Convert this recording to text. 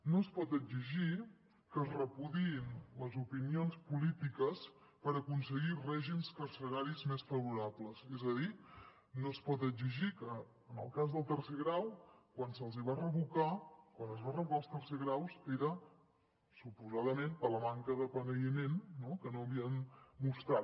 no es pot exigir que es repudiïn les opinions polítiques per aconseguir règims carceraris més favorables és a dir no es pot exigir que en el cas del tercer grau quan se’ls va revocar quan es van revocar els tercers graus era suposadament per la manca de penediment que no havien mostrat